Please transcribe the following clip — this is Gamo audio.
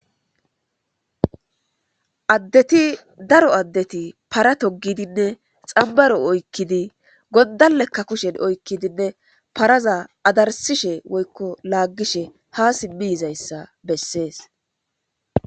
addeti daro addeti para togidinne xambaro oykkidi goddalekka kushen oykkidinne paraza adarsishe woykko laaggishe haa sibbiyizayssa bessees